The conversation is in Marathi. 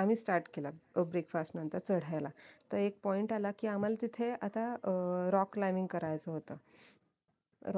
आम्ही Start केला breakfast नतंर चढायला तर एक point आला कि आम्हाला तिथे आता अं rock lining करायचं होत